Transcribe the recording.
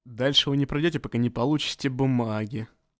дальше вы не пройдёте пока не получите бумаги